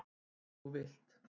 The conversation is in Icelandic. Eins og þú vilt.